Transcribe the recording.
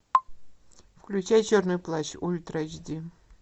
включай черный плащ ультра эйч ди